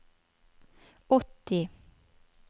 åtti